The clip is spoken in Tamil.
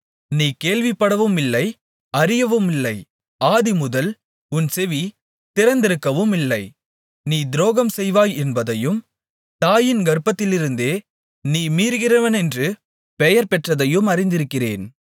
நீ கேள்விப்படவுமில்லை அறியவுமில்லை ஆதிமுதல் உன் செவி திறந்திருக்கவுமில்லை நீ துரோகம் செய்வாய் என்பதையும் தாயின் கர்ப்பத்திலிருந்தே நீ மீறுகிறவனென்று பெயர் பெற்றதையும் அறிந்திருக்கிறேன்